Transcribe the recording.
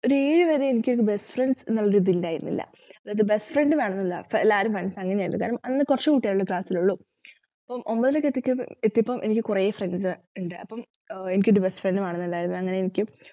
ഇതേവരെ എനിക്കൊരു best friends എന്നുള്ളൊരു ഇതായിരുന്നില്ല അതായത് best friend വേണമെന്ന് അല്ല എല്ലാരും friends അങ്ങനെയായിരുന്നു കാരണം അന്ന് കൊറച്ചുകുട്ടികൾ അല്ലെ class ൽ ഉള്ളു. അപ്പം ഒമ്പതിലേക്ക് എത്തിക്കയ് എത്തിയപ്പോൾ എനിക്ക് കുറെ friends ഉണ്ട് അപം ഏർ എനിക്കൊരു best friend നെ വേണംനിണ്ടായിരുന്നു അങ്ങനെ എനിക്ക്